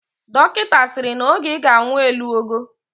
Dokita asiri na oge iga anwu elugo?